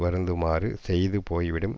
வருந்துமாறு செய்து போய்விடும்